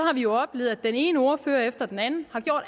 har vi jo oplevet at den ene ordfører efter den anden har gjort